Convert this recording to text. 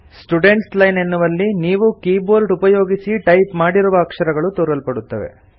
students line ಎನ್ನುವಲ್ಲಿ ನೀವು keyboard ಉಪಯೊಗಿಸಿ ಟೈಪ್ ಮಾಡಿರುವ ಅಕ್ಷರಗಳು ತೋರಲ್ಪಡುತ್ತವೆ